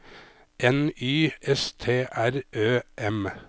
N Y S T R Ø M